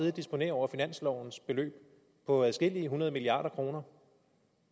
og disponere over finanslovens beløb på adskillige hundrede milliarder kroner